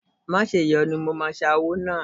Má ṣèyọnu, mo máa ṣa owó náà.